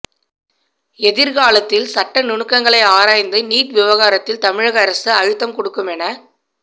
எதிர்காலத்தில் சட்ட நுணுக்கங்களை ஆராய்ந்து நீட் விவகாரத்தில் தமிழக அரசு அழுத்தம் கொடுக்கும் என